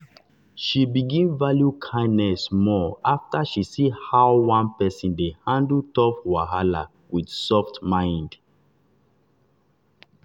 she begin value kindness more after she see how one person dey handle tough wahala with soft mind.